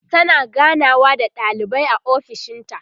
tana ganawa da ɗalibai a ofishinta